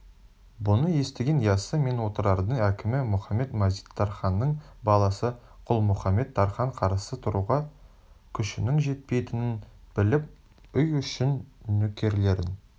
бұны естіген яссы мен отырардың әкімі мұхамед-мазит тарханның баласы құлмұхамет-тархан қарсы тұруға күшінің жетпейтінін біліп үй ішін нөкерлерін